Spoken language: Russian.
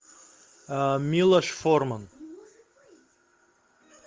милош форман